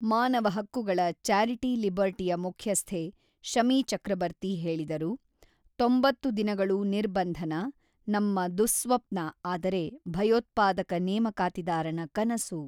ಮಾನವ ಹಕ್ಕುಗಳ ಚಾರಿಟಿ ಲಿಬರ್ಟಿಯ ಮುಖ್ಯಸ್ಥೆ ಶಮಿ ಚಕ್ರಬರ್ತಿ ಹೇಳಿದರು: ತೊಂಬತ್ತು ದಿನಗಳು ನಿರ್ಬಂಧನ - ನಮ್ಮ ದುಃಸ್ವಪ್ನ ಆದರೆ ಭಯೋತ್ಪಾದಕ ನೇಮಕಾತಿದಾರನ ಕನಸು.